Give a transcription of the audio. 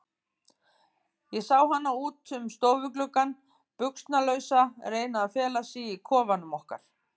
Ég sá hana út um stofugluggann, buxnalausa, reyna að fela sig í kofanum okkar.